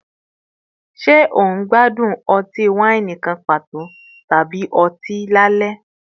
Ṣe o n gbadun ọti-waini kan pato tabi ọti lalẹ?